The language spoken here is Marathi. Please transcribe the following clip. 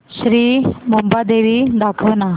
श्री मुंबादेवी दाखव ना